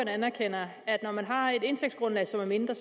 anerkender at når man har et indtægtsgrundlag som er mindre